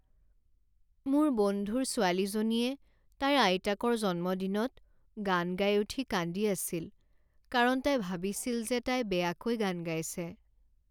মোৰ বন্ধুৰ ছোৱালীজনীয়ে তাইৰ আইতাকৰ জন্মদিনত গান গাই উঠি কান্দি আছিল কাৰণ তাই ভাবিছিল যে তাই বেয়াকৈ গান গাইছে।